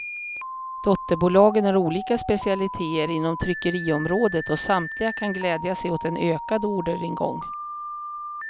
Dotterbolagen har olika specialiteter inom tryckeriområdet och samtliga kan glädja sig åt en ökad orderingång.